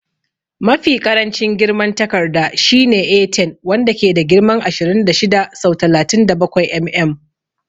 Mafi ƙarancin girman a takarda shine A10, wanda ke da girman ashirin da shida sau talatin da bakwai mm.